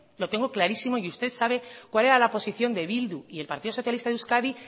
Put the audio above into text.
lo tengo clarísimo y usted sabe cuál era la posición de bildu y el partido socialista de euskadi